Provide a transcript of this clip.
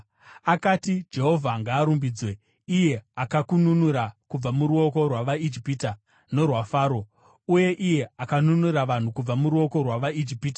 Akati, “Jehovha ngaarumbidzwe, iye akakununura kubva muruoko rwavaIjipita norwaFaro, uye iye akanunura vanhu kubva muruoko rwavaIjipita.